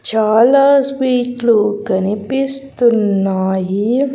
చాలా స్వీట్లు కనిపిస్తున్నాయి.